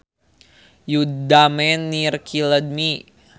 You damn near killed me